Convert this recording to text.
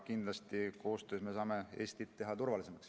Kindlasti me saame koostöös teha Eestit turvalisemaks.